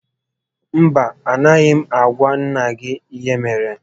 Mba, a gaghị m agwa nnà gị ihe mere